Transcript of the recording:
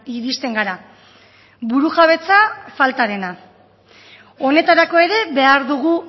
iristen gara burujabetza faltarena honetarako ere behar dugu